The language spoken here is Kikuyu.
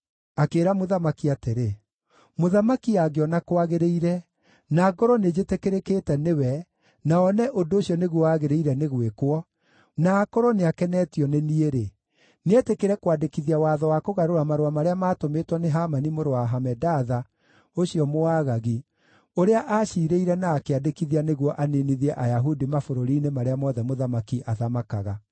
Akĩĩra mũthamaki atĩrĩ, “Mũthamaki angĩona kwagĩrĩire, na ngorwo nĩnjĩtĩkĩrĩkĩte nĩwe na one ũndũ ũcio nĩguo wagĩrĩire nĩ gwĩkwo, na akorwo nĩ akenetio nĩ niĩ-rĩ, nĩetĩkĩre kwandĩkithia watho wa kũgarũra marũa marĩa maatũmĩtwo nĩ Hamani mũrũ wa Hamedatha, ũcio Mũagagi, ũrĩa aaciirĩire na akĩandĩkithia nĩguo aniinithie Ayahudi mabũrũri-inĩ marĩa mothe mũthamaki athamakaga.